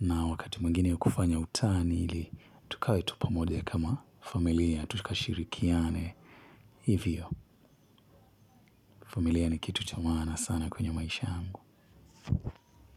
Na wakati mwingine kufanya utani ili tukawe tu pamoja kama familia, tukashirikiane. Hivyo, familia ni kitu cha maana sana kwenye maisha yangu.